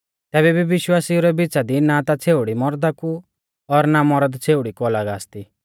तैबै भी विश्वासिऊ रै बिचा दी ना ता छ़ेउड़ी मौरदा कु और ना मौरद छ़ेउड़ी कु अलग आसती